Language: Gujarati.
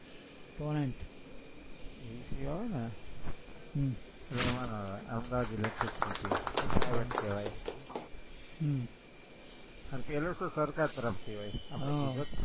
ટોરેન્ટ ઈ આવે ને હમ એટલે એમનમ આવે, અમદાવાદ electricity ઈ private કહેવાય હમ પેલું શું સરકાર તરફથી હોય